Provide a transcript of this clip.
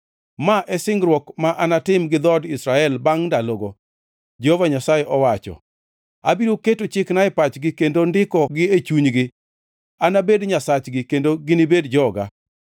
“Ma e singruok ma anatim gi dhood jo-Israel bangʼ ndalogo,” Jehova Nyasaye owacho. “Abiro keto chikena e pachgi kendo ndikogi e chunygi. Anabed Nyasachgi kendo ginibed joga.